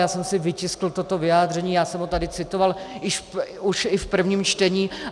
Já jsem si vytiskl toto vyjádření, já jsem ho tady citoval už i v prvním čtení.